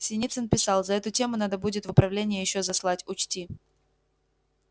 синицын писал за эту тему надо будет в управление ещё заслать учти